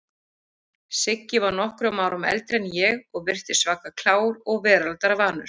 Siggi var nokkrum árum eldri en ég og virtist svaka klár og veraldarvanur.